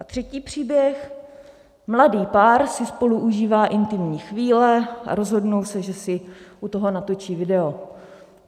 A třetí příběh: Mladý pár si spolu užívá intimní chvíle a rozhodnou se, že si u toho natočí video.